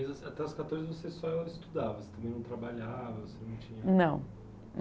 Até as quatorze você só estudava, você também não trabalhava, você não tinha... Não.